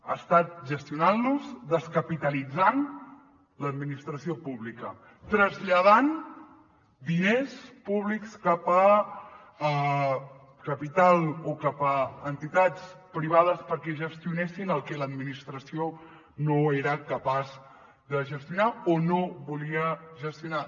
ha estat gestionant los descapitalitzant l’administració pública traslladant diners públics cap a capital o cap a entitats privades perquè gestionessin el que l’administració no era capaç de gestionar o no volia gestionar